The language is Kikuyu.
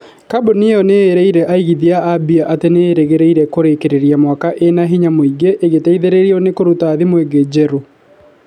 kambuni ĩyo ĩrerire aigithia a mbia atĩ nĩ ĩrĩgĩrĩire kũrĩkĩrĩria mwaka ĩna hinya mũĩngĩ ĩgĩteithĩrĩrio ni kũruta thimũ ingĩ njerũ